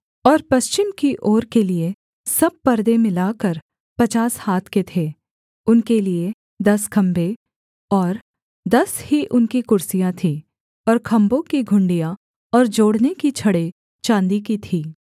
और पश्चिम की ओर के लिये सब पर्दे मिलाकर पचास हाथ के थे उनके लिए दस खम्भे और दस ही उनकी कुर्सियाँ थीं और खम्भों की घुंडियाँ और जोड़ने की छड़ें चाँदी की थीं